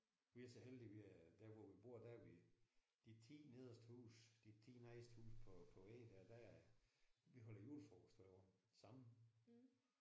Vi er så heldige vi er der hvor vi bor der er vi de 10 nederste huse de 10 nederste huse på på vejen der der vi holder julefrokost hvert år sammen